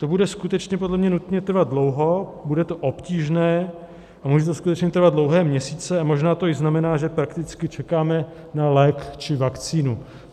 To bude skutečně podle mě nutně trvat dlouho, bude to obtížné a může to skutečně trvat dlouhé měsíce a možná to i znamená, že prakticky čekáme na lék či vakcínu.